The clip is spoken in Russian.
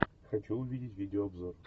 хочу увидеть видеообзор